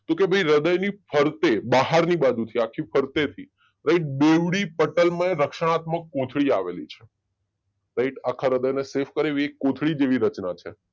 તો કે ભાઈ હૃદયની ફરતે બહારની બાજુથી આખે ફરતેથી બેવડી પટળમય રક્ષકાત્મક કોથળી આવેલી છે રાઈટ આખા હૃદયને સેફ કરે એવી કોથળી જેવી રચના છે